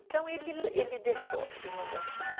Então, ele deixou e não dançou.